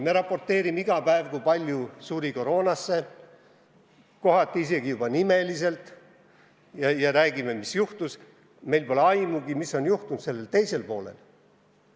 Me raporteerime iga päev, kui palju suri koroona tõttu, kohati räägime juba nimeliselt, mis juhtus, aga meil pole aimugi, mis on toimunud selle teise poole hulgas.